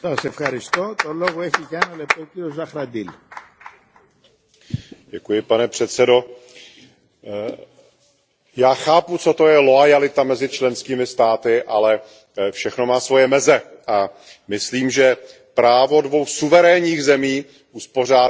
Pane předsedající, já chápu, co to je loajalita mezi členskými státy, ale všechno má svoje meze. Myslím, že práva dvou suverénních zemí uspořádat si pravidla vzájemného styku mezi občany a vízové povinnosti